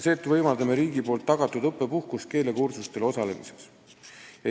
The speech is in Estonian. Seetõttu võimaldame riigi tagatud õppepuhkust keelekursustel osalemiseks.